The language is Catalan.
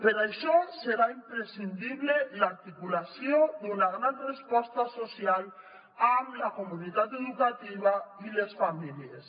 per això serà imprescindible l’articulació d’una gran resposta social amb la comunitat educativa i les famílies